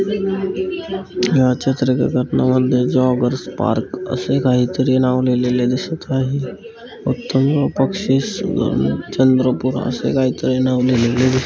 या चित्रामधे joggers park असे काही तरी नाव लिहिलेले दिसत आहे चंद्रपुर असे काहीतरी नाव लिहिलेले दिसत--